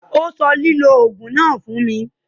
Ó sọ lílò òògùn náà fún mi.